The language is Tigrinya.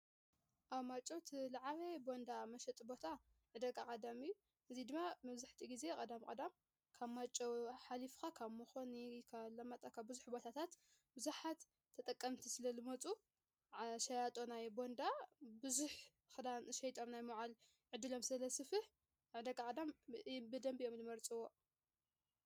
ኣብ ማይጨው ዓለባ ቦንዳ መሽጢ ቦታ ዕደጋ ቀዳም እዩ፡፡ እዙይ ድማ መብዛሕቲኡ ጊዜ ቐዳም ቐዳም ካብ ማይጨው ሓሊፍካ ካብ ሞኾኒ ካብ ኣላማጣ ካብ ብዙሕ ቦታታት ብዙሓት ተጠቀምቲ ስለ ልመፁ ሸያጦ ናይ ቦንዳ ብዙሕ ኽዳን ሸይጦም ናይ ምውዓል ዕዱሎም ስለ ዘስፍሕ ዕደጋ ቀዳም ብደምቢ አዮም ልመርፅዎ፡፡